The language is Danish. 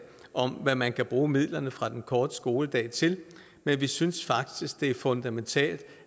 om hvad man kan bruge midlerne fra den korte skoledag til men vi synes faktisk det er fundamentalt